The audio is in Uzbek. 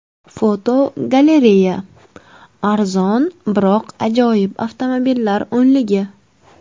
Fotogalereya: Arzon, biroq ajoyib avtomobillar o‘nligi.